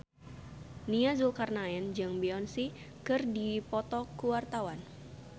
Nia Zulkarnaen jeung Beyonce keur dipoto ku wartawan